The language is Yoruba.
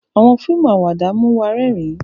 Awọn fíìmù Àwàdà mú wá rẹrin